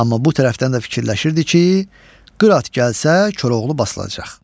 Amma bu tərəfdən də fikirləşirdi ki, Qırat gəlsə, Koroğlu basılacaq.